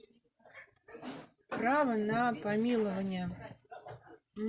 право на помилование